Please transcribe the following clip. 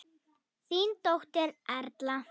Þín dóttir, Erla.